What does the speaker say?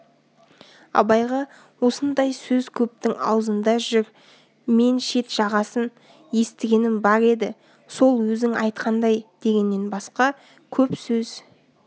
абайға осындай сөз көптің аузында жүр мен шет-жағасын естігенім бар еді сол өзің айтқандай дегеннен басқа көп сөз